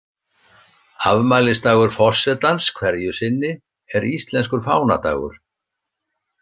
Afmælisdagur forsetans hverju sinni er íslenskur fánadagur.